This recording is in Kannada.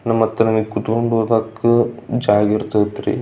ನಮ್ಮತ್ರನೆ ಕುತ್ಕೊಂಡ್ ಓದಕ್ಕೂ ಜಾಗಿರ್ತ್ತತ್ ರೀ.